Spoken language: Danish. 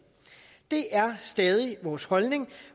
det er stadig vores holdning